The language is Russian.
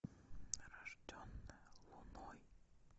рожденная луной